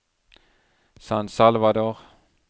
San Salvador